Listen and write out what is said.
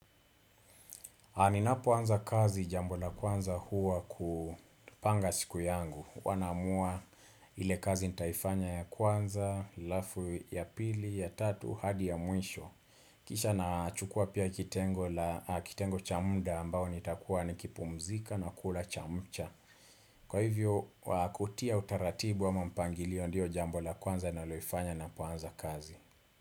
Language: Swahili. Ninapoanza kazi jambo la kwanza huwa kupanga siku yangu. Huwa naamua ile kazi nitaifanya ya kwanza, halafu ya pili, ya tatu, hadi ya mwisho. Kisha nachukua pia kitengo cha muda ambao nitakuwa nikipumzika na kula chamcha. Kwa hivyo, kutia utaratibu ama mpangilio ndiyo jambo la kwanza ninaloifanya napoanza kazi.